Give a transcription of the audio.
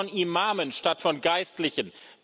Reden Sie von Imamen statt von Geistlichen!